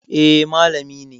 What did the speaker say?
Eh, malami ne